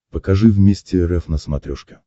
покажи вместе рф на смотрешке